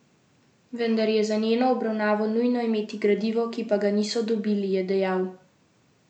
Vendar je za njeno obravnavo nujno imeti gradivo, ki pa ga niso dobili, je dejal.